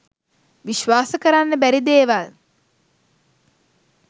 විශ්වාස කරන්න බැරි දේවල්